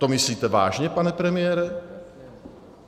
To myslíte vážně, pane premiére?